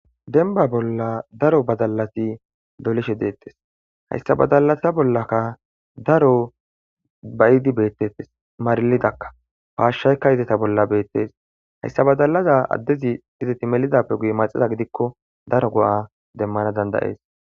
denba bolla daro badalati dolishe deettes hayssa badalata bollaka daro bayidi beettettes marlidakka paashshaykka izeta bolla beettees hayssa badalaza addezi izeti melidappe guy maxiza gidikko daro go7a demmana dandayees